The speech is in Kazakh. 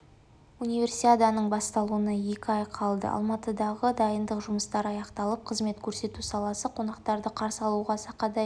универсиаданың басталуына екі ай қалды алматыдағы дайындық жұмыстары аяқталып қызмет көрсету саласы қонақтарды қарсы алуға сақадай